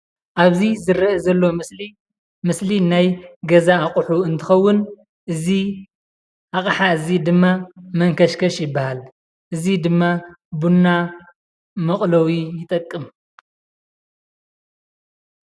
አብዚ ዝረአ ዘሎ ምስሊ ምስል ናይ ገዛ አቑሑ እንትኸውን እዚ ዓቅሓ እዚ ድማ መንከሽከሽ ይበሃል :እዚ ድማ ቡና መቕለዊ ይጠቅም፡፡